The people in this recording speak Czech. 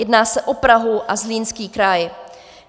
Jedná se o Prahu a Zlínský kraj.